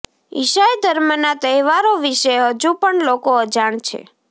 ઈસાઈ ધર્મના તહેવારો વિશે હજુ પણ લોકો અજાણ છે